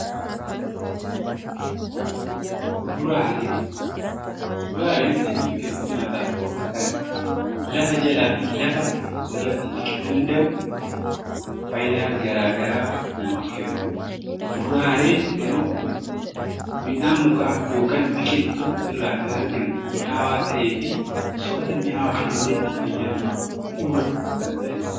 Kuduraaleen sanyii biqiltuu nyaataaf oolu kan lafa jalaa fi lafa irratti biqiluu danda'u fayidaa garaagaraa kan namaaf kennu, muduraaleen garuu midhaan mukaa yookiin biqiltuu irraa kan argamu mi'aawaa ta'ee fi fayyaa namaatiif bu'uura kan ta'edha.